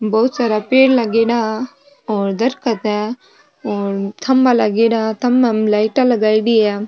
बहुत सारा पेड़ लागेड़ा और दरकत है और खम्भा लागेड़ा है थंबा में लाइटा लगाईडी है।